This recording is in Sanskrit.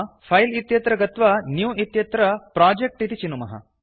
फिले इत्यत्र गत्वा न्यू इत्यत्र प्रोजेक्ट् इति चिनुमः